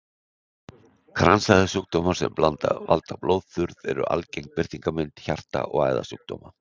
Kransæðasjúkdómar sem valda blóðþurrð eru algeng birtingarmynd hjarta- og æðasjúkdóma.